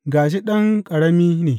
Ga shi ɗan ƙarami ne!